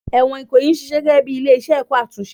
Ẹ̀wọ̀n Ikoyi ń ṣiṣẹ́ gẹ́gẹ́ bí ilé-ẹ̀kọ́ àtúnṣe